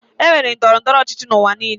E nwere ndọrọ ndọrọ ọchịchị n'ụwa niile.